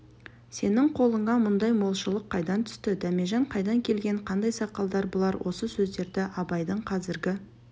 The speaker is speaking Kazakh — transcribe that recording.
сенің қолыңа мұндай молшылық қайдан түсті дәмежан қайдан келген қандай сақалдар бұлар осы сөздерді абайдың қазіргі